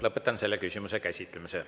Lõpetan selle küsimuse käsitlemise.